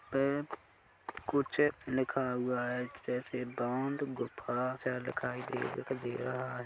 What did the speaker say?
कुछ लिखा हुआ है जैसे बांध गुफ़ा सा दिखाई दे रहा है।